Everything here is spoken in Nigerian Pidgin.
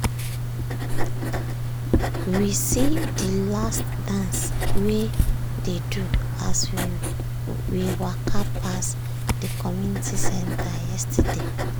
we see de last dance wey dey do as we we waka pass de community center yesterday.